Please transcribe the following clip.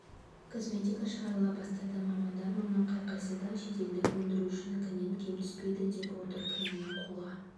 косметика шығарыла бастады мамандар мұның қай-қайсысы да шетелдік өндірушінікінен кем түспейді деп отыр кремнің қолға